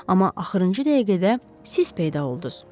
Amma axırıncı dəqiqədə siz peyda olduz.